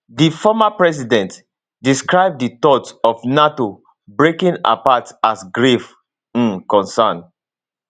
di former president describe di thought of nato breaking apart as grave um concern